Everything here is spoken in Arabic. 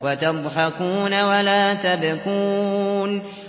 وَتَضْحَكُونَ وَلَا تَبْكُونَ